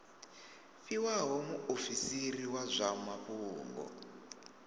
fhiwaho muofisiri wa zwa mafhungo